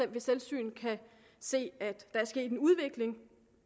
ved selvsyn kan se at der er sket en udvikling